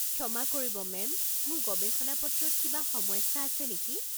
ক্ষমা কৰিব মেম, মোৰ গৱেষণা-পত্ৰত কিবা সমস্যা আছে নেকি?